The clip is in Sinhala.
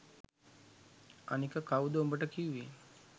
අනික කව්ද උඹට කිව්වෙ